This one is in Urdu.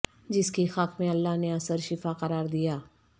جس کی خاک میں اللہ نے اثر شفا قرار دیا